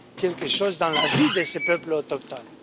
quelque chose dans la vie de ces peuples autochtones.